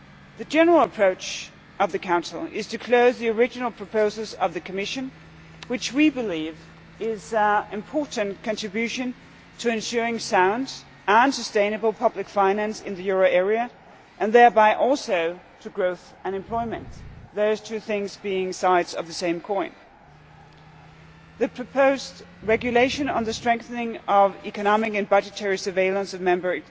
The general approach of the Council is to close the original proposals of the Commission which we believe to be an important contribution to ensuring sound and sustainable public finance in the euro area and thereby also to growth and employment, with those two things being two sides of the same coin. The proposed regulation on the strengthening of economic and budgetary surveillance of Member